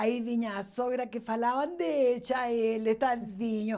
Aí vinha a sogra que falava, deixa ele, tadinho.